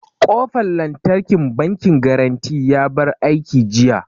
Ƙofan lantarkin bankin garanty ya bar aiki jiya